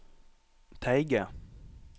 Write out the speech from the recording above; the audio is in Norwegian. Teige